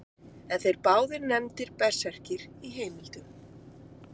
Eru þeir báðir nefndir berserkir í heimildum.